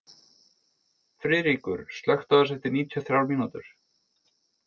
Friðríkur, slökktu á þessu eftir níutíu og þrjár mínútur.